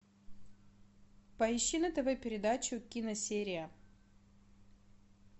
поищи на тв передачу киносерия